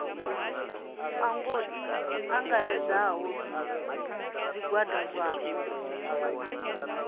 ango i angaredzaho zwigwada zwapo